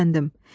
Tərpəndim.